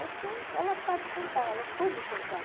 Acho que ela sabe contar, ela soube contar.